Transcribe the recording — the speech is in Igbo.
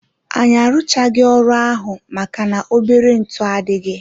Anyị arụchaghi ọrụ ahụ maka na-obere ntụ adịghị.